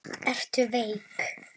Ertu veik?